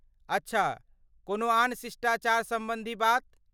अच्छा, कोनो आन शिष्टाचार सम्बन्धी बात?